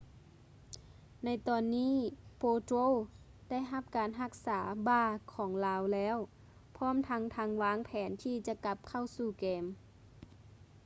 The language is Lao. ໃນຕອນນີ້ potro ໄດ້ຮັບການຮັກສາບ່າຂອງລາວແລ້ວ ພ້ອມທັງທັງວາງແຜນທີ່ຈະກັບເຂົ້າສູ່ເກມ